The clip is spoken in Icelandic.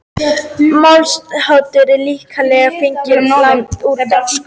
Málshátturinn er að líkindum fenginn að láni úr dönsku.